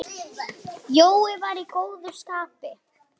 Jói var í góðu skapi.